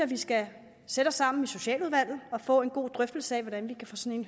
vi skal sætte os sammen i socialudvalget og få en god drøftelse af hvordan vi kan få sådan